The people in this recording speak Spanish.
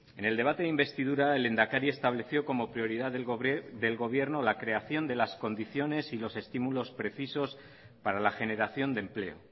en el debate de investidura el lehendakari estableció como prioridad del gobierno la creación de las condiciones y los estímulos precisos para la generación de empleo